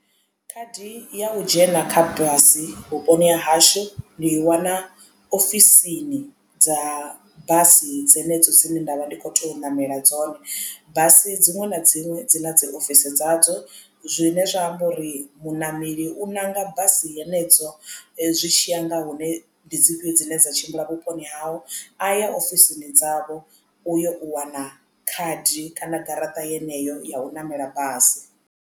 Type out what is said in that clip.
Khadi ya u dzhena kha basi vhuponi ha hashu ndi i wana ofisini dza basi dzenedzo dzine ndavha ndi kho to ṋamela dzone basi dziṅwe na dziṅwe dzi na dzi ofisi dzadzo zwine zwa amba uri muṋameli u ṋanga basi henedzo zwi tshiya nga hune ndi dzi fhio dzine dza tshimbila vhuponi hawe a ya ofisini dzavho u yo u wana khadi kana garaṱa yeneyo ya u ṋamela basi.